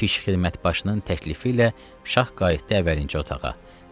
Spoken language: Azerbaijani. Pişxidmətbaşının təklifi ilə şah qayıtdı əvəlinci otağa.